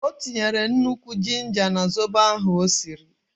O tinyere nnukwu jinja na zobo ahụ o siri.